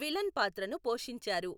Villain పాత్రను పోషించారు.